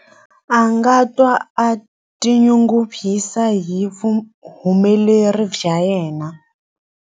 A nga twa a tinyungubyisa hi vuhumeleri bya yena.